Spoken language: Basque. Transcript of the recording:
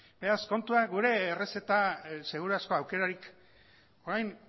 beraz kontua gure errezeta seguru asko aukerarik orain